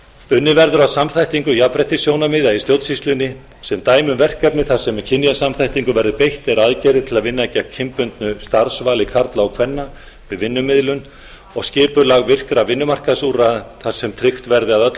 unnið verður að samþættingu jafnréttissjónarmiða í stjórnsýslunni sem dæmi um verkefni þar sem kynjasamþættingu verður beitt eru aðgerðir til að vinna gegn kynbundnu starfsvali karla og kvenna við vinnumiðlun og skipulag virkra vinnumarkaðsúrræða þar sem tryggt verði að öll